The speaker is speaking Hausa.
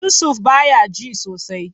Yusuf baya ji sosai.